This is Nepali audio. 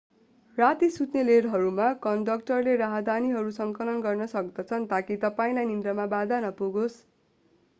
राती सुत्ने रेलहरूमा कन्डक्टरले राहदानीहरू संकलन गर्न सक्दछन् ताकि तपाईंलाई निन्द्रामा बाधा नपुगोस्